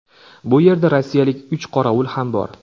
Bu yerda rossiyalik uch qorovul ham bor.